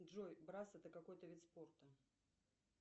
джой брасс это какой то вид спорта